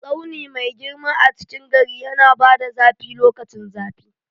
Tsauni mai girma a cikin gari yana bada zafi lokacin zafi.